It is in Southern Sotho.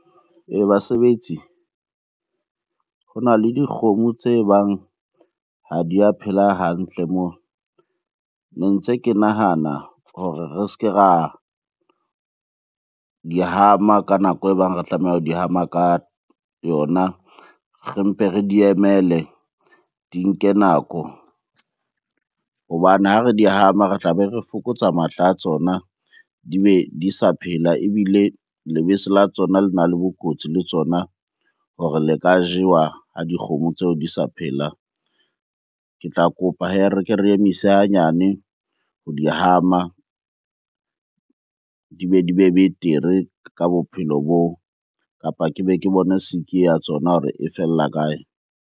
Basebetsi ho na le dikgomo tse bang ha di a phela hantle moo. Ne ntse ke nahana hore re se ke ra di hama ka nako e bang re tlameha ho di hama ka yona. Re mpe re di emele di nke nako hobane ha re di hama, re tlabe re fokotsa matla a tsona, di be di sa phela. Ebile lebese la tsona le na le bokotsi le tsona hore le ka jewa ha dikgomo tseo di sa phela. Ke tla kopa hee re ke re emise hanyane ho di hama, di be di be betere ka bophelo boo. Kapa ke be ke bona sick-i eo ya tsona hore e fella kae?